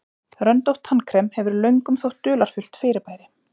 röndótt tannkrem hefur löngum þótt dularfullt fyrirbæri